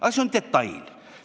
Aga see on detail.